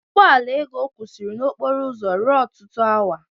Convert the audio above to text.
Ụgbọ ala Ego kwụsịrị na okporo ụzọ ruo ọtụtụ awa.